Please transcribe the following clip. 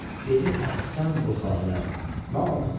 Dedi əhsən bu halə nami Xuda.